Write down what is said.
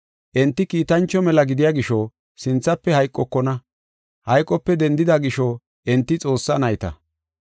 Enti kiitancho mela gidiya gisho sinthafe hayqokona. Hayqope dendida gisho enti Xoossaa nayta.